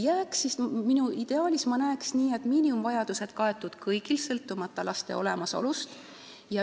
Aga mina ideaalis näeksin, et miinimumvajadused oleksid kaetud kõigil, sõltumata laste olemasolust.